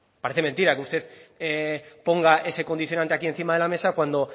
parece mentira usted ponga ese condicionante aquí encima de la mesa cuando